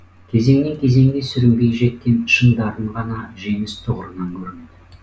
кезеңнен кезеңге сүрінбей жеткен шын дарын ғана жеңіс тұғырынан көрінеді